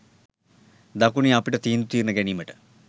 දකුණේ අපිට තීන්දු තීරණ ගැනීමට